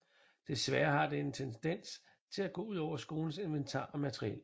Desværre har det en tendens til at gå ud over skolens inventar og materiel